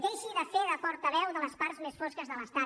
deixi de fer de portaveu de les parts més fosques de l’estat